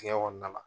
Digɛn kɔnɔna la